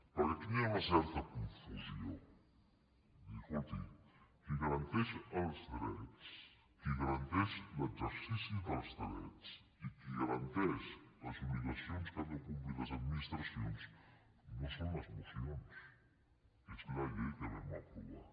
perquè aquí hi ha una certa confusió de dir escolti qui garanteix els drets qui garanteix l’exercici dels drets i qui garanteix les obligacions que han de complir les administracions no són les mocions és la llei que vam aprovar